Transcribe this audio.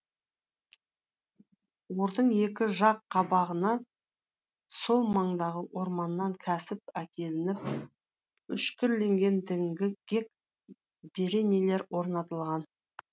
ордың екі жақ қабағына сол маңдағы орманнан кәсіп әкелініп үшкірленген діңгек бөренелер орнатылған